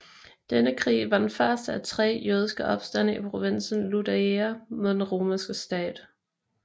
Denne krig var den første af tre jødiske opstande i provinsen Iudaea mod den romerske stat